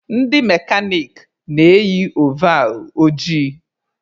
Ndị mekanik na-eyi ovall ojii